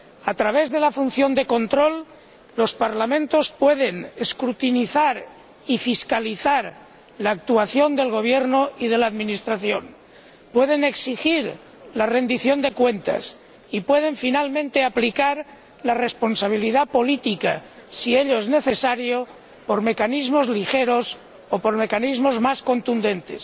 A través de la función de control, los parlamentos pueden escrutinizar y fiscalizar la actuación del gobierno y de la administración, pueden exigir la rendición de cuentas y pueden, finalmente, aplicar la responsabilidad política, si ello es necesario, mediante mecanismos ligeros o mediante mecanismos más contundentes.